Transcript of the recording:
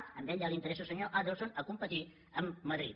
a ell ja li interessa al senyor adelson a competir amb madrid